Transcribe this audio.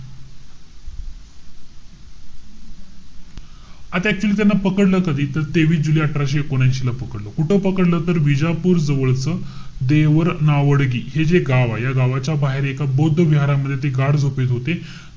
आता actually त्यांना पकडलं कधी? तर तेवीस जुलै अठराशे एकोणऐशी ला पकडलं. कुठं पकडलं? तर बिजापूर जवळचं देवर नावडगी हे जे गाव आहे. या गावाच्या बाहेर एका बौद्ध विहारामध्ये ते गाढ झोपेत होते.